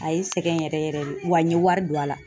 A ye n sɛgɛn yɛrɛ yɛrɛ de, wa n ye wari don a la.